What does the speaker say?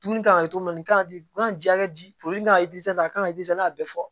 Dumuni kan ka kɛ naji kan ka a kan ka n'a bɛ fɔ